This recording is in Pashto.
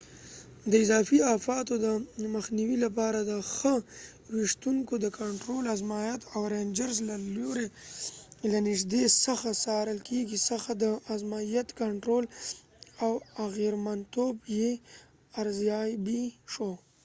د اضافې آفاتو د مخنیوي لپاره د نښه ویشتونکو د کنټرول ازمایښت د رینجرز له لورې له نږدې څخه څارل کیږي ځکه د ازمایښت کنټرول او اغیرمنتوب یې ارزیابي شو